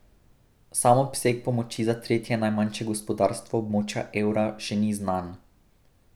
Sam obseg pomoči za tretje najmanjše gospodarstvo območja evra še ni znan.